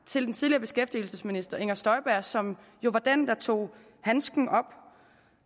til den tidligere beskæftigelsesminister fru inger støjberg som jo var den der tog handsken op